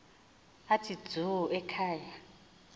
athi dzu ekhaya